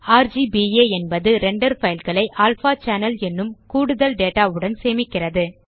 ர்க்பா என்பது render file களை alpha channel என்னும் கூடுதல் டேட்டா உடன் சேமிக்கிறது